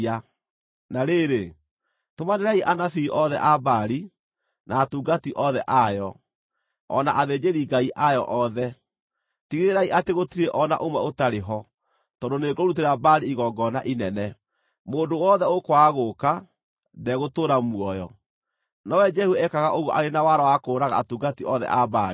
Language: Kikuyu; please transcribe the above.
Na rĩrĩ, tũmanĩrai anabii othe a Baali, na atungati othe ayo, o na athĩnjĩri-ngai ayo othe. Tigĩrĩrai atĩ gũtirĩ o na ũmwe ũtarĩ ho, tondũ nĩngũrutĩra Baali igongona inene. Mũndũ wothe ũkwaga gũũka, ndegũtũũra muoyo.” Nowe Jehu ekaga ũguo arĩ na wara wa kũũraga atungati othe a Baali.